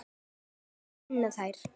Við þurfum að vinna þær.